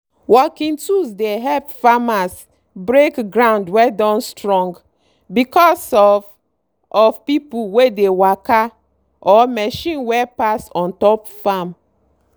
working tools dey help farmers break ground wey don strong because of of pipu wey dey waka or machine wey pass on top farm.